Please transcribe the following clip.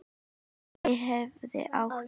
Að ég hafi átt?